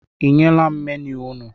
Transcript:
I nyela m menu unu?